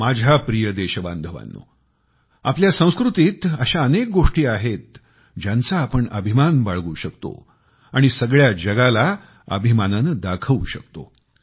माझ्या प्रिय देशबांधवांनो आपल्या संस्कृतीत अशा अनेक गोष्टी आहेतज्यांचा आपण अभिमान बाळगू शकतो आणि सगळ्या जगाला अभिमानाने दाखवू शकतो